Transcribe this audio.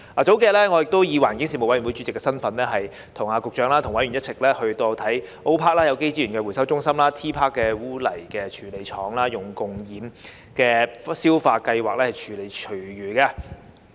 數天前，我以環境事務委員會主席的身份跟局長和委員一起參觀 O.PARK1 的有機資源回收中心及 T.PARK 的污泥處理廠採用共厭氧消化技術處理廚餘的情況。